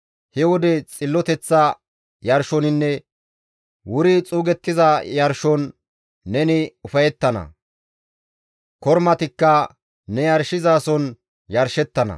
He wode xilloteththa yarshoninne wuri xuugettiza yarshon neni ufayettana; kormatikka ne yarshizason yarshettana.